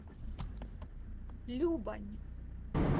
любань